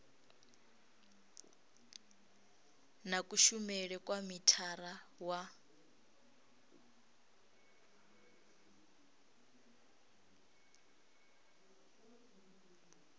na kushumele kwa mithara wa